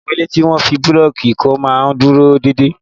Àwọn ilé tí wọ́n fi bíríìkì kọ́ máa ń dúró déédéé.